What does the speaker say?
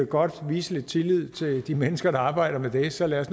godt vise lidt tillid til de mennesker der arbejder med det så lad os